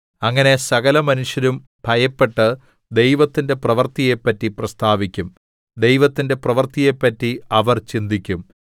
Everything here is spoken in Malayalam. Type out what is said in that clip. അങ്ങനെ സകലമനുഷ്യരും ഭയപ്പെട്ട് ദൈവത്തിന്റെ പ്രവൃത്തിയെപ്പറ്റി പ്രസ്താവിക്കും ദൈവത്തിന്റെ പ്രവൃത്തിയെപ്പറ്റി അവർ ചിന്തിക്കും